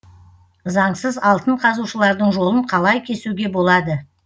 заңсыз алтын қазушылардың жолын қалай кесуге болады